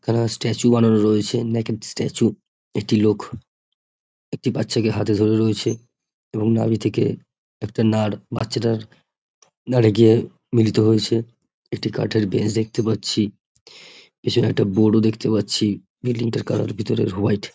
এখানে স্ট্যাচু বানানোর রয়েছে। United statue. একটি লোক একটি বাচ্চাকে হাতে ধরে রয়েছে। এবং নাভি থেকে একটা নার বাচ্ছাটার নড়ে গিয়ে মিলিত হয়েছে। একটি কাঠের বেঞ্চ দেখতে পাচ্ছি এছাড়া একটা বরও দেখতে পাচ্ছি। বিল্ডিং -টার কালার হোয়াইট ।